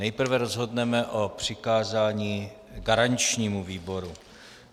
Nejprve rozhodneme o přikázání garančnímu výboru.